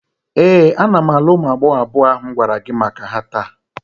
Ee, ana m alụ ụmụ agbọghọ abụọ ahụ m gwara gi maka ha taa.